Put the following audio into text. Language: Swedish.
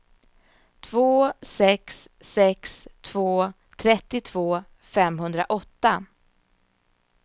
två sex sex två trettiotvå femhundraåtta